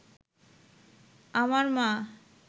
আমার মা